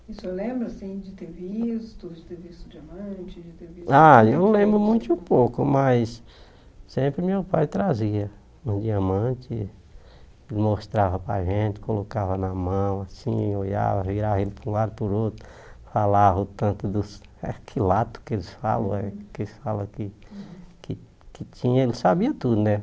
E o senhor lembra, assim, de ter visto, de ter visto diamante, de ter visto... Ah, eu lembro muito pouco, mas sempre meu pai trazia um diamante, mostrava para a gente, colocava na mão, assim, olhava, virava ele para um lado para o outro, falava o tanto dos... quilates que eles falam eh, que eles falam que que que tinha, ele sabia tudo, né?